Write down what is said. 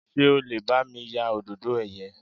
Ṣé o lè bá mi ya Òdòdó ẹ̀yẹ?